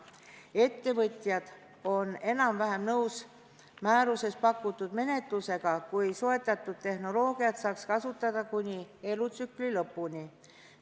Ettevõtjad on enam-vähem nõus määruses pakutud menetlusega, kui soetatud tehnoloogiat saaks kasutada kuni selle elutsükli lõpuni.